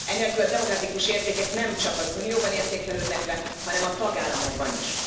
Enélkül a demokratikus értékek nemcsak az Unióban értékelődnek le, hanem a tagállamokban is.